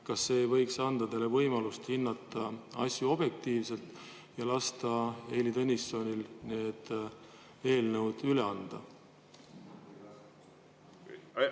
Kas see ei võiks anda teile hinnata asju objektiivselt ja lasta Heili Tõnissonil eelnõud üle anda?